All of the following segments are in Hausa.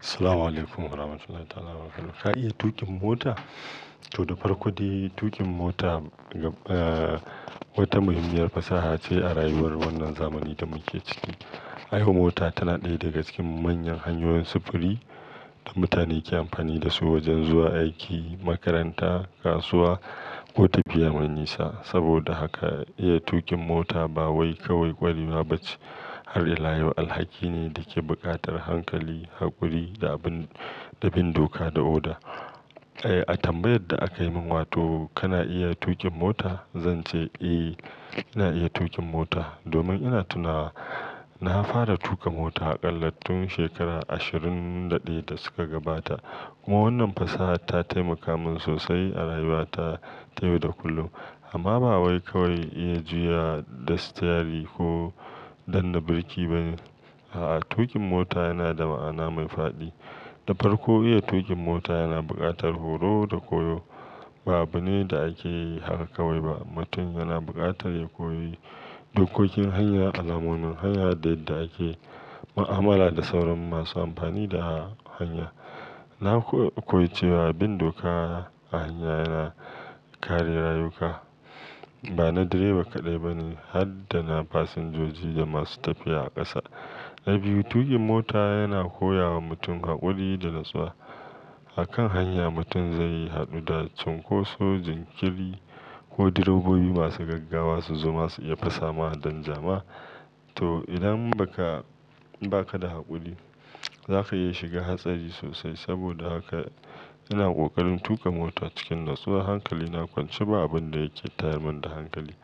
Assalamu alaykum warahmatullahi ta'ala wa barakatuh. Ka iya tuƙin mota? To, da farko dai tuƙin mota, eh, wata muhimmiyar fasaha ce a rayuwar wannan zamanin da muke ciki. Ai ko mota ta na daya daga cikin manyan hanyoyin sufuri da mutane ke amfani da su wajen zuwa aiki, makaranta, kasuwa ko tafiya mai nisa. Saboda haka iya tuƙin mota ba wai kawai ƙwarewa bace har ila yau alhaki ne da ke buƙatar hankali, haƙuri da abin, da bin doka da oda. Eh, a tambayar da aka yi min wato kana iya tuƙin mota, zan ce eh ina iya tuƙin mota domin ina tunawa na fara tuƙa mota a ƙalla tun shekara ashirin da ɗaya da suka gabata. Kuma wannan fasaha ta taimaka min sosai a rayuwata ta yau da kullum amma ba wai kawai iya juya da sitiyari ko danne birki bane. A'a, tuƙin mota yana da ma'ana mai fadi. Da farko iya tuƙin mota yana buƙatar horo da koyo. Ba abune da ake yi haka kawai ba. Mutum yana buƙatar ya koyi dokokin hanya, alamomin hanya da yadda ake mu'amala da sauran masu amfani da hanya. Na koyi cewa bin doka a hanya yana kare rayuka. Ba na direba kaɗai bane har dana fasinjoji da masu tafiya a ƙasa. Na biyu, tuƙin mota yana koya wa mutum haƙuri da natsuwa. A kan hanya mutum zai yi haɗu da cunkoso, jinkiri ko direbobi masu gaggawa su zoma su iya fasama danja ma. To, idan baka, ba ka da haƙuri za ka iya shiga hatsari sosai. Saboda haka ina ƙoƙarin tuƙa mota cikin natsuwa. Hankali na kwance ba abin da yake tayar mun da hankali.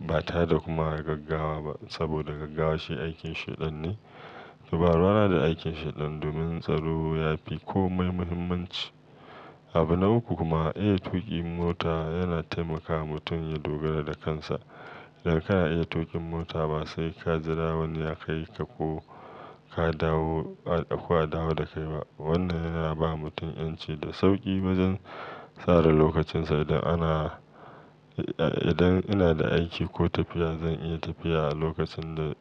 Ba tareda kuma gaggawa ba saboda gaggawa shi aikin Sheɗan ne. To, ba ruwana da aikin Sheɗan domin tsaro ya fi komai muhimmanci. Abu na uku kuma iya tuƙin mota yana taimakawa mutum ya dogara da kansa. Idan kana iya tuƙin mota ba sai ka jira wani ya kai ka ko ka dawo, ko a dawo da kai ba. Wannan yana ba mutum 'yanci da sauƙi wajen tsara lokacinsa. Idan ana, eh, idan ina da aiki ko tafiya zan iya tafiya a lokacin da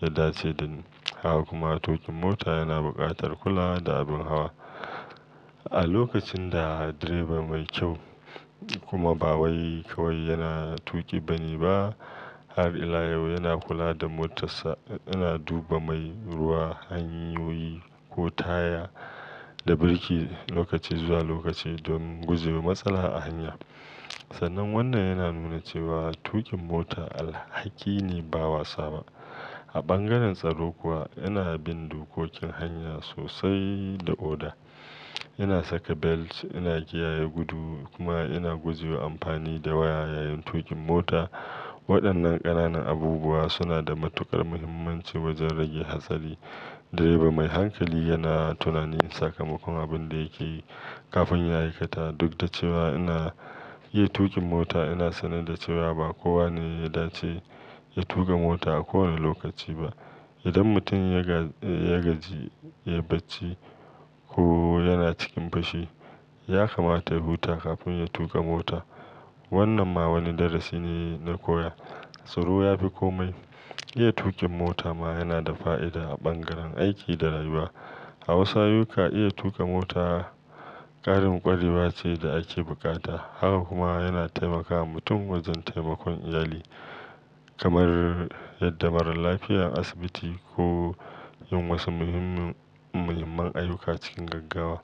ya dace dan haka kuma tuƙin mota yana buƙatar kulawa da abin hawa. A lokacin da direba mai kyau kuma ba wai kawai yana tuƙi bane ba har ila yau yana kula da motarsa, yana duba mai, ruwa, hanyoyi ko taya da birki lokaci zuwa lokaci domin gujewa matsala a hanya. Sannan wannan yana nuna cewa tuƙin mota alhaki ne ba wasa ba. A bangaren tsaro kuwa ina bin dokokin hanya sosai da oda. Ina saka belt, ina kiyaye gudu kuma ina gujewa amfani da waya yayin tuƙin mota. Waɗannan ƙananan abubuwa suna da matuƙar muhimmanci wajen rage hatsari. Direba mai hankali yana tunanin sakamakon abin da yake yi kafin ya ai kata. Duk da cewa ina iya tuƙin mota, ina sanar da cewa ba kowa ne ya dace ya tuƙa mota a kowane lokaci ba. Idan mutumya ga ya gaji, yai bacci ko yana cikin fushi, ya kamata ya huta kafin ya tuƙa mota. Wannan ma wani darasi ne na koya. Tsaro ya fi komai. Iya tuƙin mota ma yana da fa'ida a bangaren aiki da rayuwa. A wasu ayyuka iya tuƙa mota ƙarin ƙwarewa ce da ake buƙata. Haka kuma yana taimakawa mutum wajen taimakon iyali kamar yadda marar lafiya asibiti ko yin wasu muhimmin, muhimman ayyuka cikin gaggawa.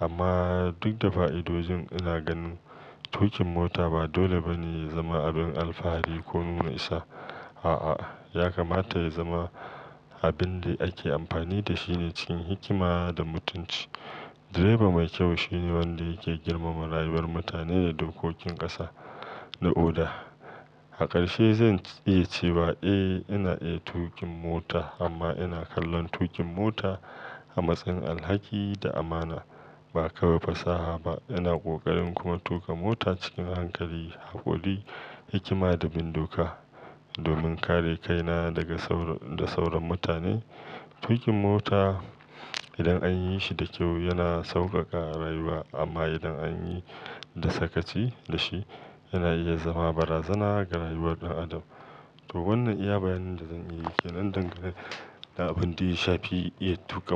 Amma duk da fa'idojin ina ganin tuƙin mota ba dole bane ya zama abin alfahari ko nuna isa. A'a, ya kamata ya zama abin da ake amfani da shi ne cikin hikima da mutunci. Direba mai kyau shine wanda yake girmama rayuwar mutane da dokokin ƙasa da oda. A ƙarshe zan iya cewa eh ina iya tuƙin mota amma ina kallon tuƙin mota a matsayin alhaki da amana ba kawai fasaha ba. Ina ƙoƙarin kuma tuƙa mota cikin hankali, haƙuri, hikima da bin doka domin kare kaina daga da sauran mutane. Tuƙin mota idan an yi shi da kyau yana sauƙaƙa rayuwa amma idan an yi da sakaci da shi yana iya zama barazana ga rayuwar ɗan adam. To, wannan iya bayanin da zan yi ke nan dangane da abin da ya shafi iya tuƙa mota.